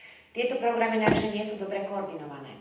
Tieto programy navyše nie sú dobre koordinované.